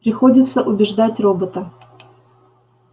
приходится убеждать робота